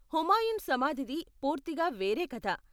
హుమాయున్ సమాధిది పూర్తిగా వేరే కధ.